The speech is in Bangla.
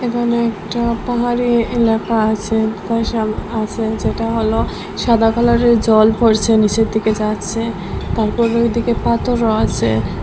এখানে একটা পাহাড়ী এলাকা আছে পয়শাল আছে যেটা হল সাদা কালারের জল পড়ছে নীচের দিকে যাচ্ছে তারপর ওইদিকে পাথরও আছে।